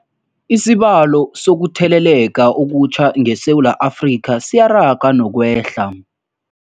Isibalo sokuthele leka okutjha ngeSewula Afrika siyaraga nokwehla.